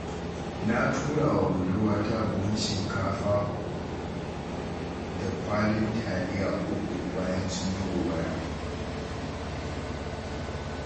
Na turawa budurwarta buhun shinkafa da kwalin taliya 3, bayan sun yi gobara.